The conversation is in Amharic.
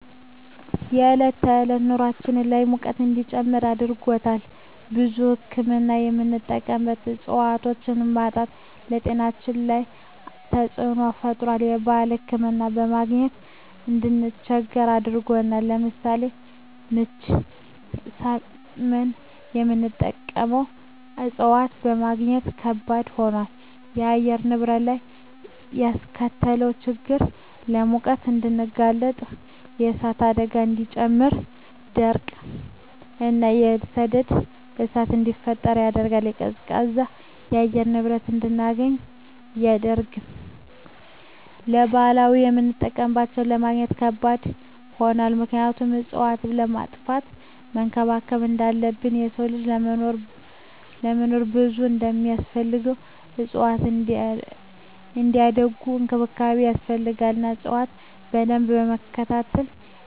የዕለት ከዕለት ኑራችን ላይ ሙቀት እንዲጨምር አድርጎታል። ለብዙ ህክምና የምንጠቀማቸው እፅዋቶች ማጣት በጤናችን ላይ ተፅዕኖ ፈጥሯል የባህል እፅዋቶችን ለማግኘት እንድንቸገር አድርጎናል። ለምሳሌ ምች ሳመን የምንጠቀመው እፅዋት ለማግኘት ከበድ ሆኗል። በአየር ንብረት ላይ ያስከተለው ችግር ለሙቀት እንድንጋለጥ የእሳት አደጋን እንዲጨምር ድርቅ እና የሰደድ እሳትን እንዲፈጠር ያደርጋል። ቀዝቃዛ የአየር ንብረት እንድናገኝ አያደርግም። ለባህላዊ የምጠቀምባቸው ለማግኘት ከባድ ሆኗል ምክንያቱም እፅዋትን ከማጥፋት መንከባከብ እንዳለብን የሰው ልጅ ለመኖር ብዙ እንደማስፈልገው እፅዋትም እንዲያድጉ እንክብካቤ ይፈልጋሉ እና እፅዋቶችን በደንብ በመትከል እየቸንከባከብን ካሳደግን ሁሉንም ተፅዕኖ ማስቀረት እንችላለን።